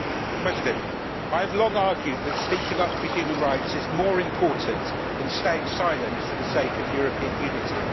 Mr President, I have long argued that speaking up for human rights is more important than staying silent for the sake of European unity.